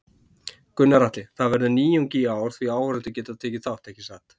Gunnar Atli: Það verður nýjung í ár því áhorfendur geta tekið þátt, ekki satt?